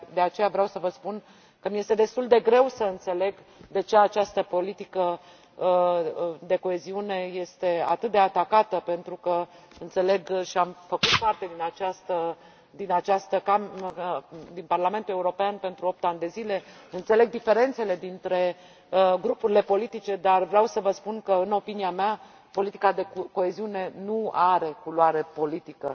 De aceea, vreau să vă spun că îmi este destul de greu să înțeleg de ce această politică de coeziune este atât de atacată, pentru că înțeleg întrucât am făcut parte din Parlamentul European timp de opt ani de zile înțeleg diferențele dintre grupurile politice, dar vreau să vă spun că, în opinia mea, politica de coeziune nu are culoare politică